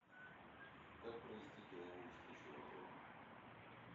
как провести деловую встречу в отеле